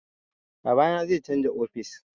Babana zai canza ofis